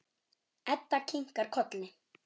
Edda kinkar kolli.